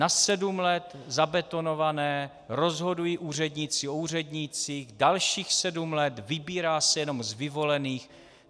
Na sedm let zabetonované, rozhodují úředníci o úřednících, dalších sedm let, vybírá se jenom z vyvolených.